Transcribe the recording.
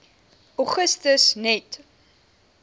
augustus net